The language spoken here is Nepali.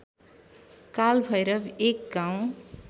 कालभैरव एक गाउँ